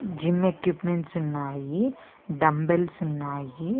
Gym equipments వున్నాయి dumbbells వున్నాయి.